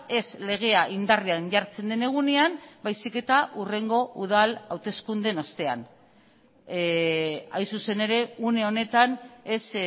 ez legea indarrean jartzen den egunean baizik eta hurrengo udal hauteskundeen ostean hain zuzen ere une honetan ez